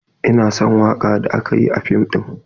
Ina son waka da aka yi a fim din.